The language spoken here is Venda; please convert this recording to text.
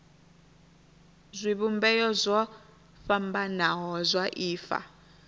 zwivhumbeo zwo fhambanaho zwa ifa